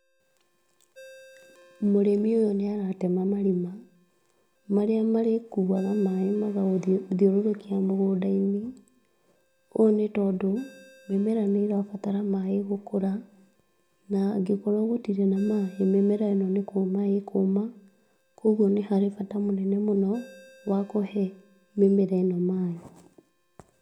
Mũrĩmi ũyũ nĩ aratema marima, marĩa marĩkuwaga maaĩ magathiũrũrũkia mũgũnda-inĩ, ũũ nĩ tondũ mĩmera nĩ ĩrabatara maaĩ gũkũra na angĩkorwo gũtirĩ na maaĩ, mĩmera ĩno nĩ kũma ĩkũma, kũgwo nĩ hari bata mũnene mũno wakũhe mĩmera ĩ no maaĩ.